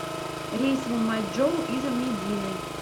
рейс в мэйчжоу из медины